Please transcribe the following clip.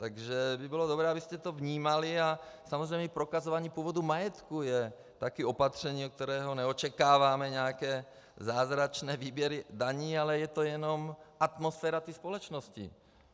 Takže by bylo dobré, abyste to vnímali, a samozřejmě i prokazování původu majetku je taky opatření, od kterého neočekáváme nějaké zázračné výběry daní, ale je to jenom atmosféra té společnosti.